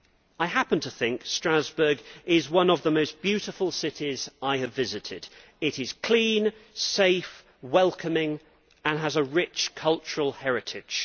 I happen to think that Strasbourg is one of the most beautiful cities I have visited. It is clean, safe, welcoming and has a rich cultural heritage.